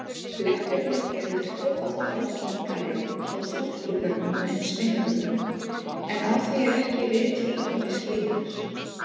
Blettirnir eru tvöfalt algengari hjá stúlkubörnum en sveinbörnum, en á því eru ekki viðhlítandi skýringar.